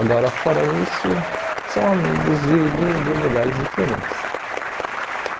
Agora, fora isso, são amigos de de de lugares diferentes.